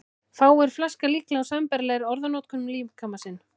Fáir flaska líklega á sambærilegri orðanotkun um líkama sinn.